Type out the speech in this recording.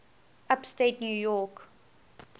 upstate new york